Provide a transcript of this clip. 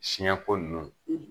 Siɲɛ ko ninnu